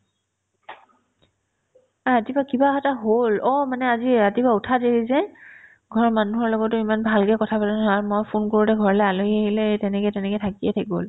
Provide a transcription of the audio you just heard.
নাই ৰাতিপুৱা কিবা এটা হ'ল অ মানে আজি ৰাতিপুৱা উঠাত দেৰি যে ঘৰৰ মানুহৰ লগতো ইমান ভালকে কথাপাতা নহ'ল আৰু মই ফোন কৰোতে ঘৰলে আলহী আহিলে তেনেকে তেনেকে থাকিয়ে থাকি গ'ল